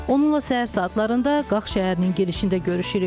Onunla səhər saatlarında Qax şəhərinin girişində görüşürük.